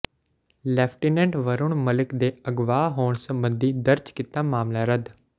lieutenant Varun Malik ਦੇ ਅਗਵਾ ਹੋਣ ਸਬੰਧੀ ਦਰਜ ਕੀਤਾ ਮਾਮਲਾ ਰੱਦ